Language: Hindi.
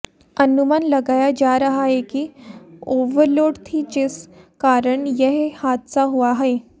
अनुमान लगाया जा रहा है कि ओवरलोड थी जिस कारण यह हादसा हुआ है